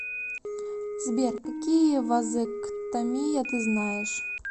сбер какие вазэктомия ты знаешь